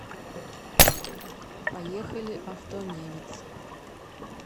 поехали автонемец